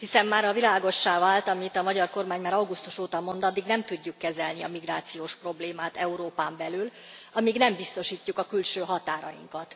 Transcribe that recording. Hiszen mára világossá vált, amit a magyar kormány már augusztus óta mond addig nem tudjuk kezelni a migrációs problémát Európán belül, amíg nem biztosítjuk külső határainkat.